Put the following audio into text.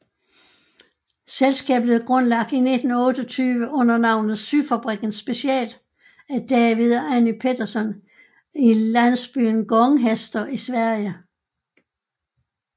Selskabet blev grundlagt i 1928 under navnet Syfabriken Special af David og Annie Petterson i landsbyen Gånghester i Sverige